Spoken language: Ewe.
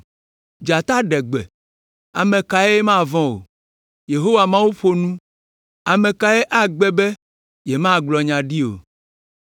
Dzata ɖe gbe, ame kae mavɔ̃ o. Yehowa Mawu ƒo nu, ame kae agbe be yemagblɔ nya ɖi o.